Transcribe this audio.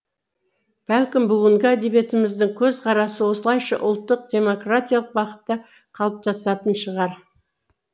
бәлкім бүгінгі әдебиетіміздің көзқарасы осылайша ұлттық демократиялық бағытта қалыптасатын шығар